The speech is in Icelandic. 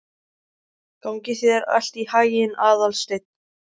Gangi þér allt í haginn, Aðalsteinn.